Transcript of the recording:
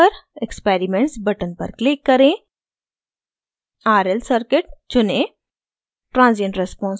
plot window पर experiments button पर click करें और rl circuit चुनें